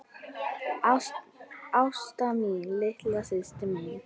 Ásta mín, litla systir mín.